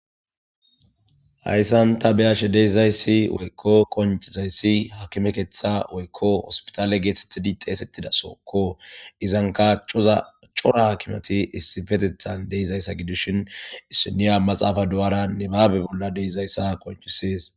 hayssan ta beyashe deeizayssi woykko qoncizayssi hakime keeththa woykko hospitale geethethidi xeesettida sookko izanka coza cora haakimati issifetetan deeizayssa gidishin issiniya maxaafa doyara ni baabe bolla deeizayssa koncisees